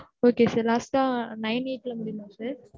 Okay, sir, last ஆ nine eight ல முடியுமா sir.